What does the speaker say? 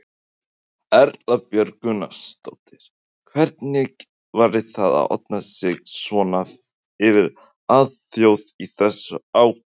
Erla Björg Gunnarsdóttir: Hvernig var það að opna sig svona fyrir alþjóð í þessu átaki?